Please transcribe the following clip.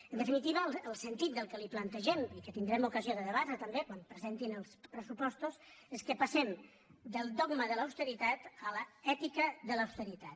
en definitiva el sentit del que li plantegem i que tindrem ocasió de debatre també quan presentin els pressupostos és que passem del dogma de l’austeritat a l’ètica de l’austeritat